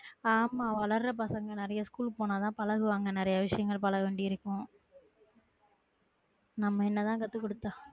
ஆமா வளர பசங்க நெறைய ஸ்கூல்க்கு போன தா பழகுவாங்க நெறைய விஷயங்கள் பழக வேண்டியது இருக்கும் நம்ம என்ன தான் கத்து குடுத்தா